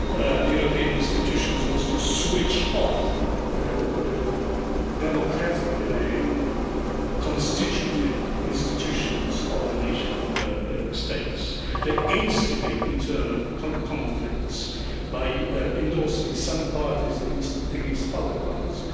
The European institutions want to switch off the democratically constituted institutions of the nation states. They instigate internal conflicts by endorsing some parties rather than other parties.